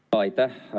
Aitäh!